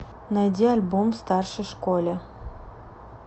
найди альбом в старшей школе